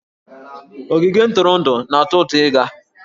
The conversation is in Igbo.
Ogige ntụrụndụ na-atọ ụtọ ịga